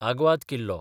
आग्वाद किल्लो